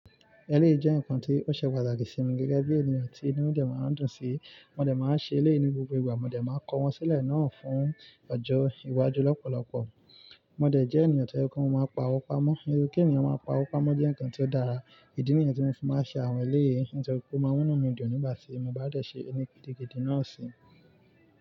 Ẹlẹ́yi jẹ́ nǹkan tí ó ṣe pàtàkì sí mi gẹ́gẹ́ bí ènìyàn tí inú mi dè máa ń dùn sí. Mo dé máa ń ṣe ilé ní gbogbo ìgbà, mo dé máa ń kọ wọ́n sílẹ̀ náà fún ọjọ́ iwájú lọ́pọ̀lọpọ̀. Mo dé jẹ́ ènìyàn tó je pe mo máa n pa ọ́wo pamọ́. Irú kí ènìyàn máa pa ọ́wo pamọ́ jẹ́ nǹkan tí ó dára. Ìdí nìyẹn tí mo fi máa ń ṣe àwọn ilé yìí, nítorí kó máa wónú mi dùn nígbà tí mo bá dẹ̀ ṣe ẹni gidi náà sí.